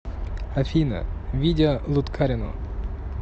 афина видео луткарино